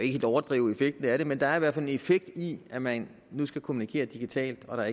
helt overdrive effekten af det men der er hvert fald en effekt i at man nu skal kommunikere digitalt og